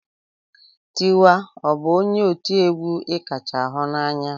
Tiwa ọ bụ onye ọ ti egwu ị kacha hunanya?